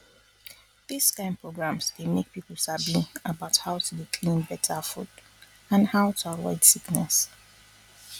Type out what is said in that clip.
dis kind programs dey make people sabi about how to dey clean better food and how to avoid sickness